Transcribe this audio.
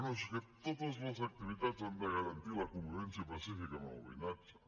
no és que totes les activitats han de garantir la convivència pacífica amb el veïnatge